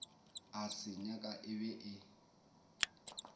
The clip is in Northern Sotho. a se nyaka e be